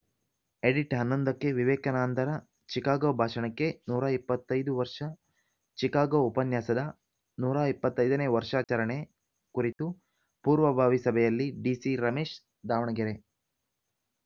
edit ಹನ್ನೊಂದಕ್ಕೆ ವಿವೇಕಾನಂದರ Chicago ಭಾಷಣಕ್ಕೆ ನೂರ ಇಪ್ಪತ್ತ್ ಐದು ವರ್ಷ ಚಿಕಾಗೋ ಉಪನ್ಯಾಸದ ನೂರ ಇಪ್ಪತ್ತ್ ಐದನೇ ವರ್ಷಾಚರಣೆ ಕುರಿತು ಪೂರ್ವಭಾವಿ ಸಭೆಯಲ್ಲಿ ಡಿಸಿ ರಮೇಶ್‌ ದಾವಣಗೆರೆ